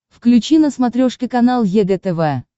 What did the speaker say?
включи на смотрешке канал егэ тв